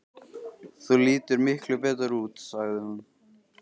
Þú lítur miklu betur út, sagði hún.